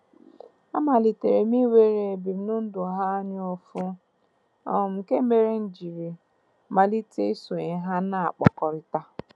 A malitere m inwere ebimụndụ ha anyaụfụ, um nke mere m jiri malite isonye ha na-akpakọrịta.